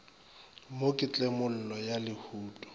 mo ke tlemollo ya lehuto